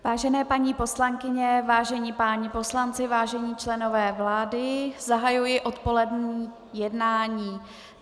Vážené paní poslankyně, vážení páni poslanci, vážení členové vlády, zahajuji odpolední jednání.